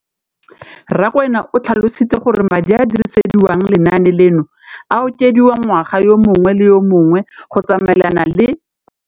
Rakwena o tlhalositse gore madi a a dirisediwang lenaane leno a okediwa ngwaga yo mongwe le yo mongwe go tsamaelana le